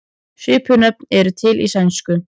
Svipuð nöfn eru til í sænsku.